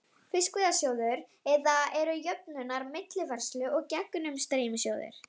Fiskveiðasjóður, eða eru jöfnunar-, millifærslu- og gegnumstreymissjóðir.